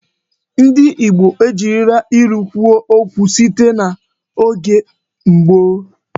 Ndị Igbo ejirila ilu kwuo okwu site n'oge gboo.